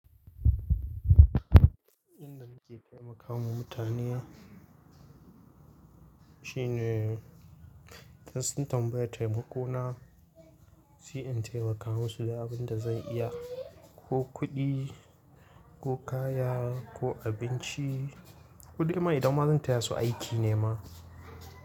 Inda muke taimakawa mutane shine, idan sun tambaye taimako na, sai in taimaka musu da abin da zan iya, ko kuɗi, ko kaya, ko abinci. Kuɗi ma idan ma zan taya su aiki ne ma.